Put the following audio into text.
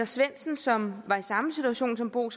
svendsen som var i samme situation som bo